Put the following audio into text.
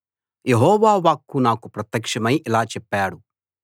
యెహోవా వాక్కు నాకు ప్రత్యక్షమై ఇలా చెప్పాడు